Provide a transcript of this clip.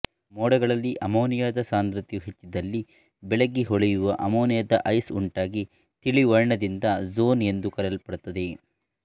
ಮೋಡಗಳಲ್ಲಿ ಅಮ್ಮೋನಿಯಾದ ಸಾಂದ್ರತೆಯು ಹೆಚ್ಚಿದ್ದಲ್ಲಿ ಬೆಳ್ಳಗೆ ಹೊಳೆಯುವ ಅಮ್ಮೊನಿಯಾ ಐಸ್ ಉಂಟಾಗಿ ತಿಳಿವರ್ಣದಿಂದ ಝೋನ್ ಎಂದು ಕರೆಯಲ್ಪಡುತ್ತದೆ